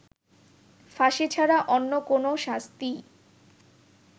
ফাঁসি ছাড়া অন্য কোনও শাস্তিই